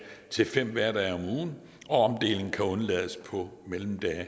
til fem hverdage om ugen og omdeling kan undlades på mellemdage